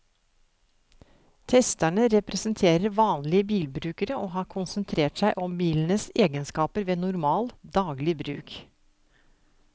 Testerne representerer vanlige bilbrukere og har konsentrert seg om bilenes egenskaper ved normal, daglig bruk.